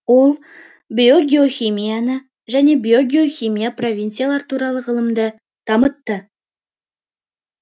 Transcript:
ол биогеохимияны және биогеохимия провинциялар туралы ғылымды дамытты